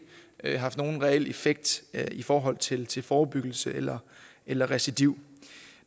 haft nogen reel effekt i forhold til til forebyggelse eller eller recidiv